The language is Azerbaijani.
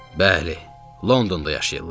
Bəli, Londonda yaşayırlar.